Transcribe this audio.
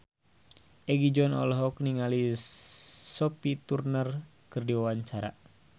Egi John olohok ningali Sophie Turner keur diwawancara